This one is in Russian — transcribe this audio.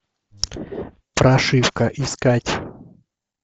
прошивка искать